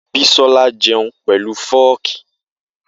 Bisọlà jẹun pẹlu fọ́kì.